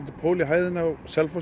pól í hæðina á Selfossi